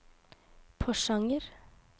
Porsanger